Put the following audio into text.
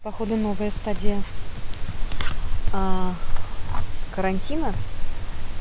походу новая стадия карантина